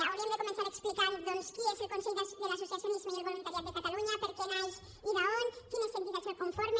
hauríem de començar explicant doncs qui és el consell de l’associacionisme i el voluntariat de catalunya per què naix i d’on quines entitats el conformen